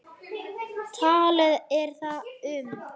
Talið er að um